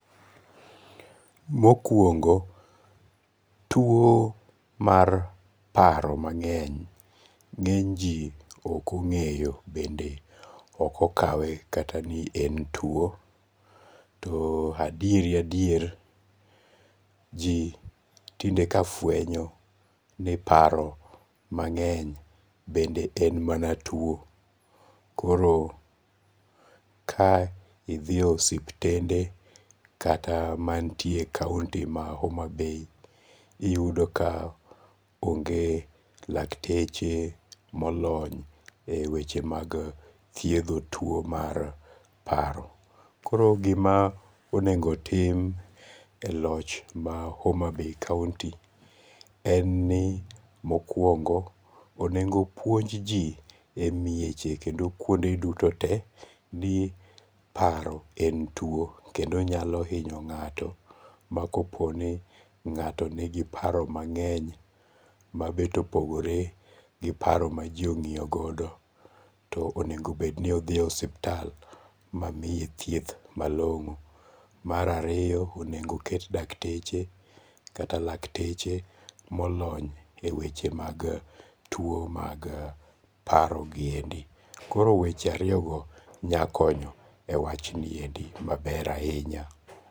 Mokwongo tuo mar paro mang'eny ng'eny ji ok ong'eyo bende ok okawe kata ni en tuo. To adieri adier ji tinde ka fwenyo ni paro mang'eny bende en mana tuo. Koro ka idhi e osiptende kata mantie e kaunti ma Homa Bay iyudo ka onge lakteche molony e weche mag thiedho tuo mar paro. Koro gima onengo tim e loch ma Homa Bay kaunti en ni mokwongo onengo puonj ji e mieche kendo kuonde duto te ni paro en tuo kendo nyalo hinyo ng'ato ma kopo ni ng'ato nigi paro mang'eny mabet opogore gi paro ma ji ong'iyo godo to onego bed ni odhi oeiptal ma miye thieth malong'o. Mar ariyo onego ket dakteche kata lakteche molony e weche mag tuo mag paro giendi. Koro weche ariyo go nyakonyo e wachni endi maber ahinya.